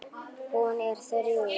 Hún er þrjú.